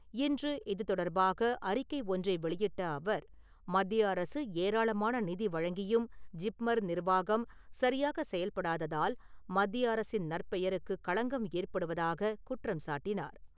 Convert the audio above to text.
இன்று இது தொடர்பாக அறிக்கை ஒன்றை வெளியிட்ட அவர் மத்திய அரசு ஏராளாமான நிதி வழங்கியும் ஜிப்மர் நிர்வாகம் சரியாக செயல்படாததால் மத்திய அரசின் நற்பெயருக்கு களங்கம் ஏற்படுவதாக குற்றம் சாட்டினார்.